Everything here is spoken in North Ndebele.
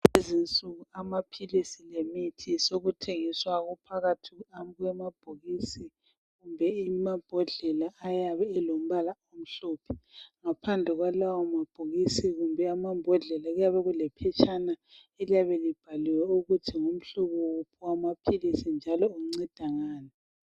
Kulezi insuku amaphilisi lemithi sekuthengiswa kuphakathi kwamabhokisi kumbe amabhodlela. Ayabe elombala omhlophe. Ngaphandle kwalawomabhokisi kumbe amambodlela, kuyabe kulephetshana, eliyabe libhaliwe ukuthi ngumhlobo wuphi wamaphilisi njalo unceda ngani.